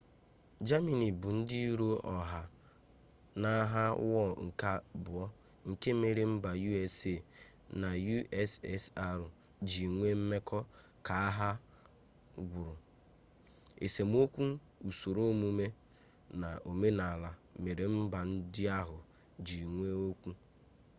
jamini bụ ndị iro ọha n'agha ụwa nke abụọ nke mere mba usa na ussr ji nwee mmekọ ka agha gwụrụ esemokwu usoro omume na omenala mere mba ndị ahụ ji nwee okwu